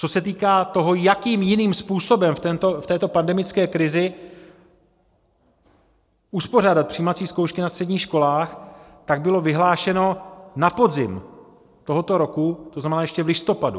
Co se týká toho, jakým jiným způsobem v této pandemické krizi uspořádat přijímací zkoušky na středních školách, tak bylo vyhlášeno na podzim tohoto roku, to znamená ještě v listopadu.